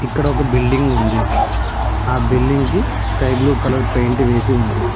ఇక్కడ ఒక బిల్డింగ్ ఉంది ఆ బిల్డింగ్ కి స్కై బ్లూ కలర్ పెయింట్ వేసి ఉంది.